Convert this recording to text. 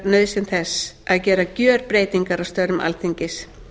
undirstrikar nauðsyn þess að gera gjörbreytingar á störfum alþingis